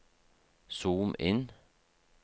zoom inn